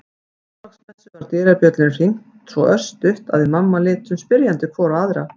Á Þorláksmessu var dyrabjöllunni hringt svo örstutt að við mamma litum spyrjandi hvor á aðra.